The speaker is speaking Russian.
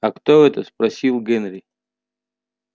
а кто это спросил генри